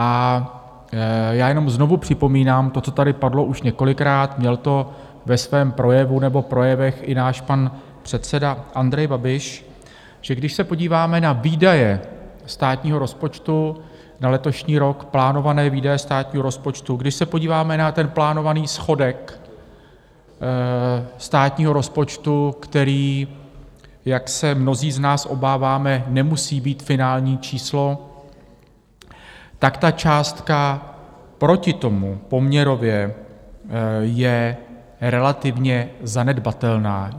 A já jenom znovu připomínám to, co tady padlo už několikrát, měl to ve svém projevu nebo projevech i náš pan předseda Andrej Babiš, že když se podíváme na výdaje státního rozpočtu na letošní rok, plánované výdaje státního rozpočtu, když se podíváme na ten plánovaný schodek státního rozpočtu, který, jak se mnozí z nás obáváme, nemusí být finální číslo, tak ta částka proti tomu poměrově je relativně zanedbatelná.